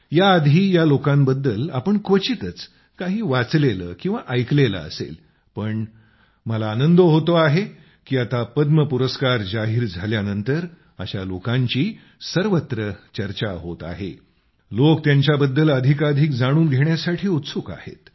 याआधी या लोकांबद्दल आपण क्वचितच काही वाचलेले किंवा ऐकलेले असेल पण मला आनंद होतो आहे की आता पद्म पुरस्कार जाहीर झाल्यानंतर अशा लोकांची सर्वत्र चर्चा होत आहे लोक त्यांच्याबद्दल अधिकाधिक जाणून घेण्यासाठी उत्सुक आहेत